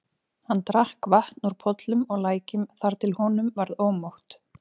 Hann drakk vatn úr pollum og lækjum þar til honum varð ómótt.